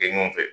Kɛ ɲɔgɔn fɛ